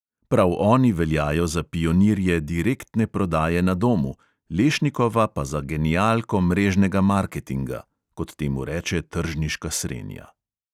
Prav oni veljajo za pionirje direktne prodaje na domu, lešnikova pa za genialko mrežnega marketinga (kot temu reče tržniška srenja).